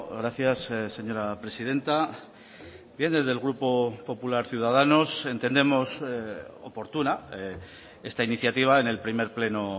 gracias señora presidenta bien desde el grupo popular ciudadanos entendemos oportuna esta iniciativa en el primer pleno